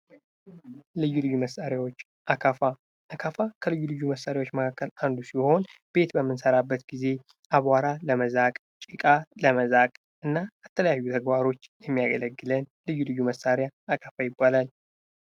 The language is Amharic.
ልዩ ልዩ መሳሪያዎች አካፋ:- አካፋ ከልዩ ልዩ መሳሪያዎች መካከል አንዱ ሲሆን ፤ ቤት በምንሰራበት ጊዜ አቧራ ለመዛቅ ጭቃ ለመዛቅ የምንጠቀምበት ልዩ ልዩ መሣሪያ አካፋ ይባላል።